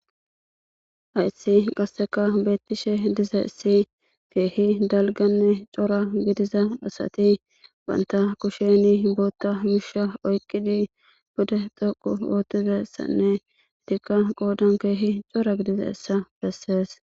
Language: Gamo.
haissi qasseka beettishe diza issi keehi dalganne cora gidiza asati banta kusheni bootta misha oyqqidi bude xhoqu ootizessanne idikka qoodan keehi cora gidiza issa bessees